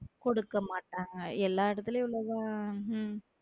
கொடுக்க மாட்டாங்க எல்லா இடத்திலேயும் உள்ளது உம்